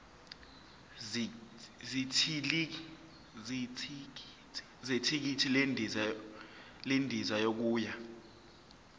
zethikithi lendiza yokuya